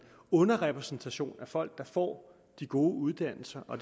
underrepræsentation af folk der får de gode uddannelser og